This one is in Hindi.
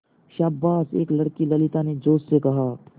शाबाश एक लड़की ललिता ने जोश से कहा